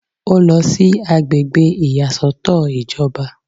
Ó lọ sí àgbègbè ìyàsọ́tọ̀ ìjọba